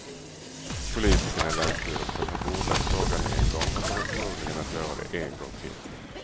Politikerna i länsstyrelsen har bordlagt frågan en gång och kommer förmodligen att göra det en gång till.